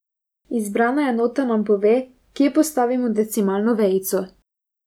Izbrana enota nam pove, kje postavimo decimalno vejico.